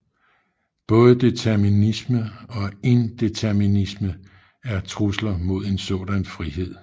Både determinisme og indeterminisme er trusler mod en sådan frihed